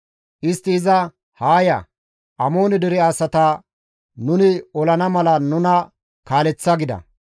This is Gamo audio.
Istti iza, «Haa ya! Amoone dere asata nuni olana mala nuna kaaleththa» gida.